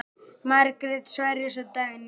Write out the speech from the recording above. Margrét Sverris og Dagný Einars.